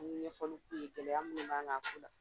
N ye ɲɛfɔli k'u ye gɛlɛya min b'an kan a ko la